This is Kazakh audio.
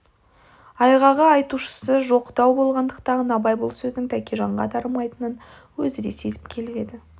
айғағы айтушысы жоқ дау болғандықтан абай бұл сөздің тәкежанға дарымайтынын өзі де сезіп келіп еді